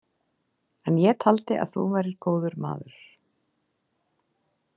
En ég taldi að þú værir góður maður.